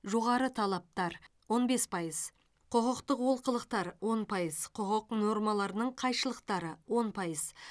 жоғары талаптар он бес пайыз құқықтық олқылықтар он пайыз құқық нормаларының қайшылықтары он пайыз